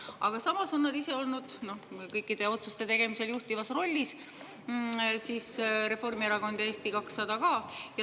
Aga samas on nad ise olnud kõikide otsuste tegemisel juhtivas rollis, Reformierakond ja Eesti 200 ka.